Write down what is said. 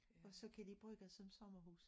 Og så kan de bruge det som somemrhus